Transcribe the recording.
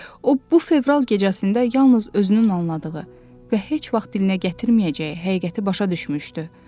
O, bu fevral gecəsində yalnız özünün anladığı və heç vaxt dilinə gətirməyəcəyi həqiqəti başa düşmüşdü.